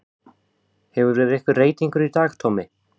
Hefur verið einhver reytingur í dag Tommi?